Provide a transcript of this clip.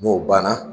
N'o banna